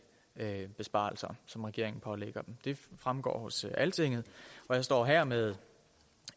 besparelser som regeringen pålægger det fremgår hos altinget og jeg står her med